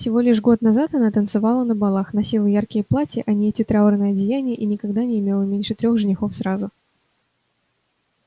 всего лишь год назад она танцевала на балах носила яркие платья а не эти траурные одеяния и никогда не имела меньше трёх женихов сразу